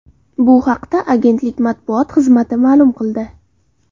Bu haqda agentlik matbuot xizmati ma’lum qildi .